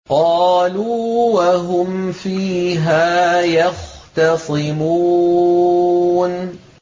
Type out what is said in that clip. قَالُوا وَهُمْ فِيهَا يَخْتَصِمُونَ